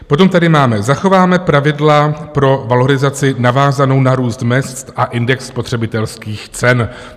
Potom tady máme: Zachováme pravidla pro valorizaci navázanou na růst mezd a index spotřebitelských cen.